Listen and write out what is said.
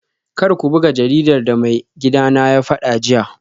Kar ku buga jaridar da maigidana ya fada jiya